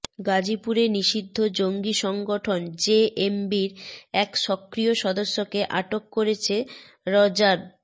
গাজীপুরে নিষিদ্ধ জঙ্গি সংগঠন জেএমবির এক সক্রিয় সদস্যকে আটক করেছে র্যাব